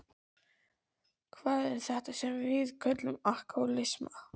Hvað er þetta sem við köllum alkohólisma?